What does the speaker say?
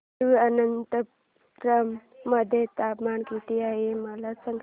तिरूअनंतपुरम मध्ये तापमान किती आहे मला सांगा